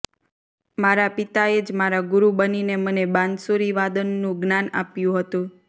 મારા પિતાએ જ મારા ગુરુ બનીને મને બાંસુરીવાદનનું જ્ઞાન આપ્યું હતું